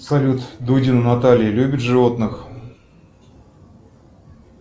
салют дудина наталья любит животных